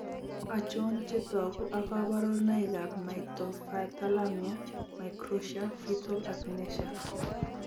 Achon chetogu ak kaborunoik ab Microphthalmia microtia fetal akinesia?